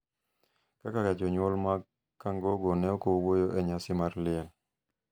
kaka jonyuol mag Kangogo, ne ok owuoyo e nyasi mar liel.